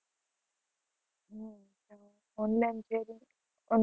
Online selling, on~